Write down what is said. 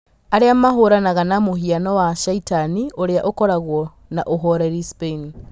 Arĩ a mahũranaga na mũhianano wa caitani ũrĩ a ũkoragwo na ũhoreri Spain